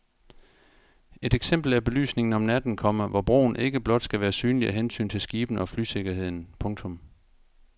Et eksempel er belysningen om natten, komma hvor broen ikke blot skal være synlig af hensyn til skibene og flysikkerheden. punktum